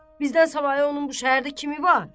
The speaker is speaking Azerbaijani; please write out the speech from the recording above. Bizdən savayı onun bu şəhərdə kimi var?